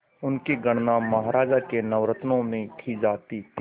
उनकी गणना महाराज के नवरत्नों में की जाती थी